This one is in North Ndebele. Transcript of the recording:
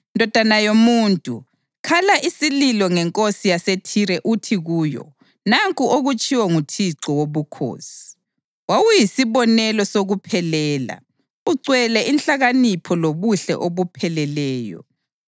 “Ndodana yomuntu, khala isililo ngenkosi yaseThire uthi kuyo: ‘Nanku okutshiwo nguThixo Wobukhosi: Wawuyisibonelo sokuphelela ugcwele inhlakanipho lobuhle obupheleleyo.